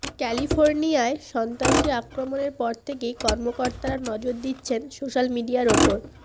ক্যালিফোার্নিয়ায় সন্ত্রাসী আক্রমণের পর থেকেই কর্মকর্তারা নজর দিচ্ছেন সোশ্যাল মিডিয়ার ওপর